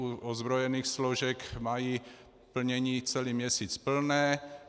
U ozbrojených složek mají plnění celý měsíc plné.